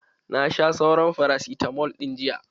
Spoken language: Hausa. Na sha sauran farasitamal ɗin jiya.